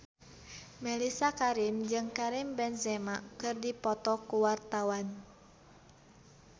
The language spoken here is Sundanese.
Mellisa Karim jeung Karim Benzema keur dipoto ku wartawan